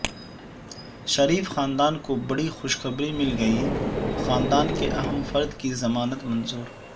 شریف خاندان کوبڑی خوشخبری مل گئی خاندان کے اہم فرد کی ضمانت منظور